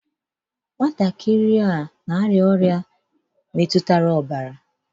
Nwatakịrị a n'arịa ọrịa na-emetuta ọbara.